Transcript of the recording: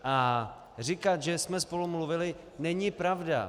A říkat, že jsme spolu mluvili, není pravda.